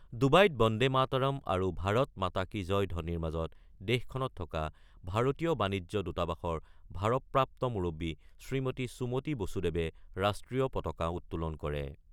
ডুবাইত বন্দে মাতৰম আৰু ভাৰত মাতা কী জয় ধবনিৰ মাজত দেশখনত থকা ভাৰতীয় বাণিজ্য দূতাবাসৰ ভাৰপ্ৰাপ্ত মুৰব্বী শ্ৰীমতী সুমতি বসুদেৱে ৰাষ্ট্ৰীয় পতাকা উত্তোলন কৰে।